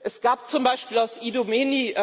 Es gab zum Beispiel aus Idomeni